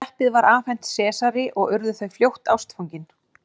Teppið var afhent Sesari og urðu þau fljótt ástfangin.